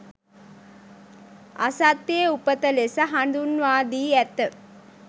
අසත්‍යයේ උපත ලෙස හඳුන්වා දී ඇත